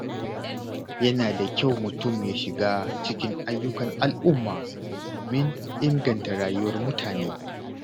Yana da kyau mutum ya shiga cikin ayyukan al’umma domin inganta rayuwar mutane.